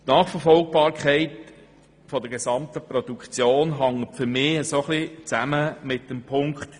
Die Nachverfolgbarkeit der ganzen Produktion hängt für mich ein bisschen mit der Auflage 3 zusammen.